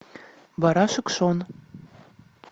барашек шон